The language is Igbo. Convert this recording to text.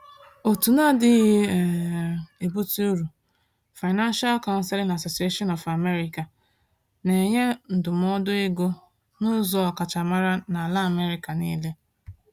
Òtù na-adịghị um ebutu uru, Financial Counseling Association of America, na-enye ndụmọdụ ego n’ụzọ ọkachamara n’ala America niile.